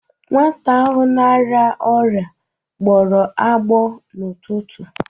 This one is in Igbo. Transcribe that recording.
Nwata ahụ na-arịa ọrịa gbọrọ agbọ n'ụtụtụ.